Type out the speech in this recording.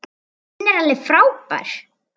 Hún er alveg frábær.